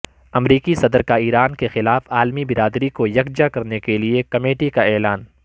امریکی صدر کا ایران کیخلاف عالمی برادری کو یکجا کرنے کیلئے کمیٹی کا اعلان